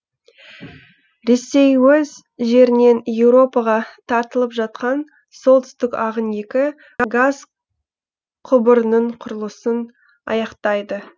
ресей өз жерінен еуропаға тартылып жатқан солтүстік ағын екі газ құбырының құрылысын аяқтайды